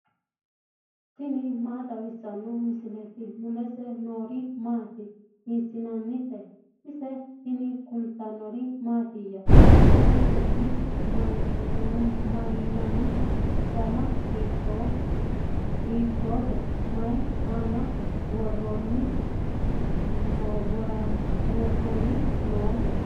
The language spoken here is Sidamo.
tini maa xawissanno misileeti ? mulese noori maati ? hiissinannite ise ? tini kultannori mattiya? ise su'ma mayiinnanni? danna hiittotte? mayi aanna worrenna nootte?